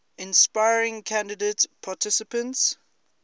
inspiring candidate participants